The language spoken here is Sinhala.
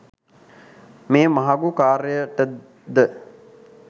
මේ මහඟු කාර්යයට ද